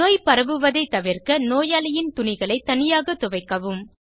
நோய் பரவுவதை தவிர்க்க நோயாளியின் துணிகளை தனியாக துவைக்கவும்